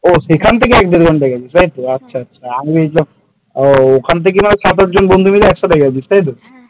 ও সেখান থেকে গিয়েছিলিস তাইতো আমি ভেবেছিলাম এখান থেকে মানে সাত আট জন বন্ধু মিলে একসাথে গিয়েছিলিস তাই তো?